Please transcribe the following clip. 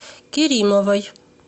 керимовой